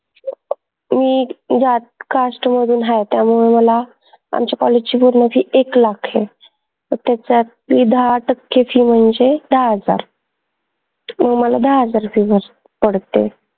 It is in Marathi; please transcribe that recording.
मी त्या cast मधून हाय त्यामुळे मला आमच्या college ची पूर्ण fee एक lakh ए त्याच्यातली दाहा टक्के fee म्हनजे दाहा हजार मला दाहा हजार fee बस पडते